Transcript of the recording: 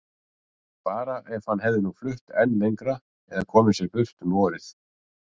Bara ef hann hefði nú flutt enn lengra eða komið sér burt um vorið.